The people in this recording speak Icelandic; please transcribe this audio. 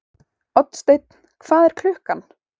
Oddsteinn, hvað er klukkan?